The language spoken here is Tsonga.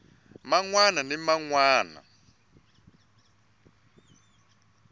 man wana ni man wana